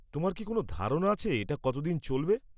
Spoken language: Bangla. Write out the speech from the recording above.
তোমার কি কোনও ধারণা আছে এটা কতদিন চলবে?